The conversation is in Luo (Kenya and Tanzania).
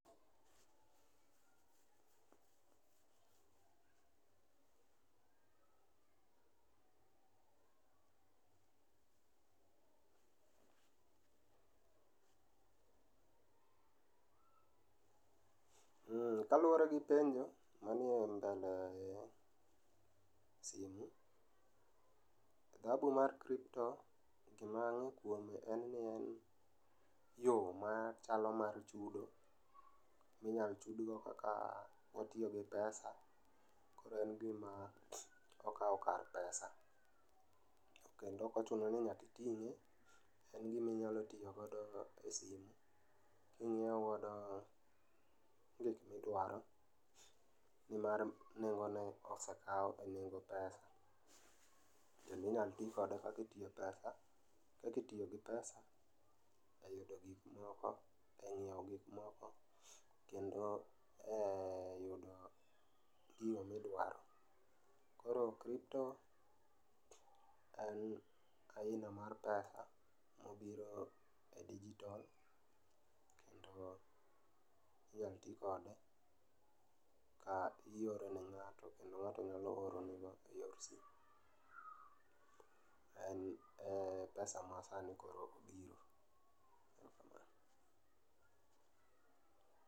Kaluore gi penjo manie mbele simu, dhahabu mar kripto to gima ang'e kuome en ni en yoo machalo mar chudo minyal chudgo kaka entie gi pesa, en gima okao kar pesa[sc] kendo ok ochuno ni nyaka itinge, en gima inyalo tiyo godo e simu minyiew godo gik midwaro nimar nengone osekao e nengo pesa kendo inyal tii kode kaka itiyo pes, kaka itiyo gi pesa e nyiew gik moko kendo e yudo gino midwaro. Koro kripto en aina mar pesa e digital, digital minyal tii godo e Ioro ne ng’ato, kendo ng'ato nyalo oro nego en pesa masani koro